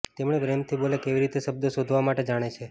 તેમણે પ્રેમથી બોલે કેવી રીતે શબ્દો શોધવા માટે જાણે છે